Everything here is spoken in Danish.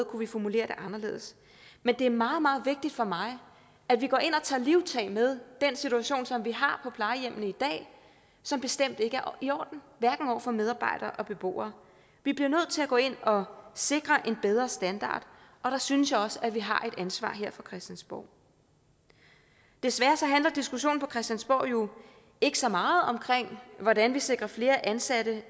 kunne formulere det anderledes men det er meget meget vigtigt for mig at vi går ind og tager livtag med den situation som vi har plejehjemmene i dag som bestemt ikke er i orden hverken over for medarbejdere eller beboere vi bliver nødt til at gå ind og sikre en bedre standard og der synes jeg også at vi har et ansvar her fra christiansborg desværre handler diskussionen på christiansborg jo ikke så meget om hvordan vi sikrer flere ansatte